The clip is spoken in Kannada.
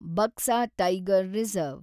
Buxa tiger reserve